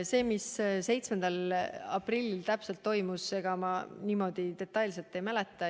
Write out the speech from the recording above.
Seda, mis 7. aprillil täpselt toimus, ma niimoodi detailselt ei mäleta.